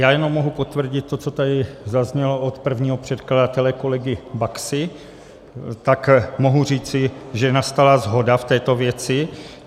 Já jenom mohu potvrdit to, co tady zaznělo od prvního předkladatele kolegy Baxy, tak mohu říci, že nastala shoda v této věci.